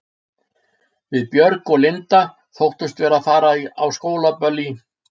Við Björg og Linda þóttumst vera að fara á skólaböll í